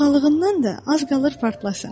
Lovğalığından da az qalır partlasın.